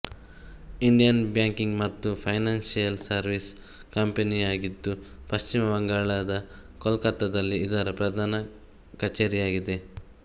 Indian banking ಮತ್ತು financial service ಕಂಪನಿಯಾಗಿದ್ದು ಪಶ್ಚಿಮ ಬಂಗಾಳದ ಕೊಲ್ಕತ್ತಾದಲ್ಲಿ ಇದರ ಪ್ರಧಾನ ಕಚೇರಿಯಾಗಿದೆ